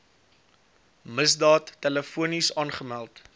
misdaad telefonies aangemeld